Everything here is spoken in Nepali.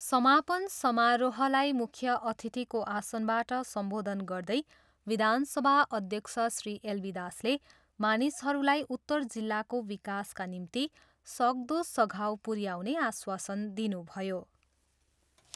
समापन समारोहलाई मुख्य अतिथिको आसनबाट सम्बोधन गर्दै विधानसभा अध्यक्ष श्री एलबी दासले मानिसहरूलाई उत्तर जिल्लाको विकासका निम्ति सक्दो सघाउ पुऱ्याउने आश्वासन दिनुभयो।